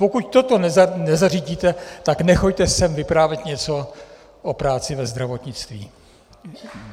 Pokud toto nezařídíte, tak nechoďte sem vyprávět něco o práci ve zdravotnictví!